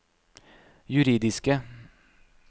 juridiske